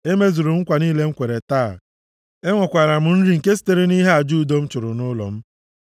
“Emezuru m nkwa niile m kwere taa, enwekwara m nri nke sitere nʼihe aja udo m chụrụ nʼụlọ m,